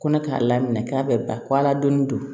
Kɔnɔ k'a laminɛ k'a bɛ ba ko ala don